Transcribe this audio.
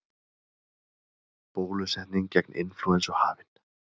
Bólusetning gegn inflúensu hafin